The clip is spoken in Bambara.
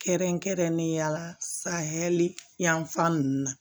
Kɛrɛnkɛrɛnnen ya la san hɛrɛ yanfan nunnu na